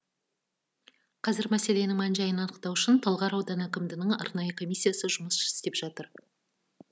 қазір мәселенің мән жайын анықтау үшін талғар ауданы әкімдігінің арнайы комиссиясы жұмыс істеп жатыр